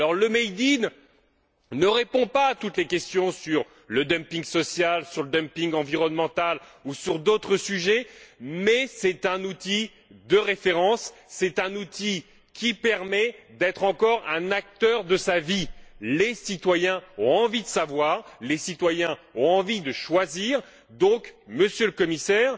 Le made in ne répond pas à toutes les questions sur le dumping social, sur le dumping environnemental ou sur d'autres sujets, mais c'est un outil de référence et c'est un outil qui permet d'être, encore, un acteur de sa vie. Les citoyens ont envie de savoir, les citoyens ont envie de choisir. Nous vous demandons, dès lors, Monsieur le Commissaire,